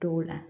T'o la